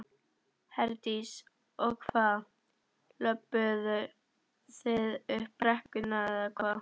Herdís: Og hvað, löbbuðu þið upp brekkurnar eða hvað?